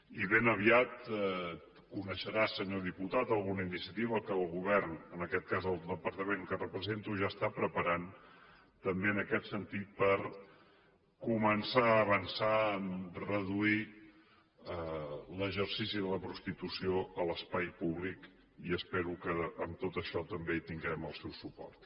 i ben aviat coneixerà senyor diputat alguna iniciativa que el govern en aquest cas el departament que represento ja està preparant també en aquest sentit per començar a avançar a reduir l’exercici de la prostitució a l’espai públic i espero que en tot això també tinguem el seu suport